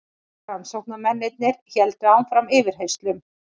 Rannsóknarmennirnir héldu áfram yfirheyrslum.